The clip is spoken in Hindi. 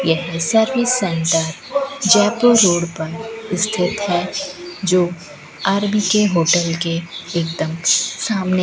यह सर्विस सेंटर जयपुर रोड पर स्थित है जो आर_बी_के होटल के एकदम सामने--